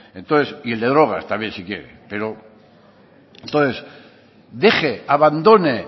y el de drogas también si quiere entonces deje abandone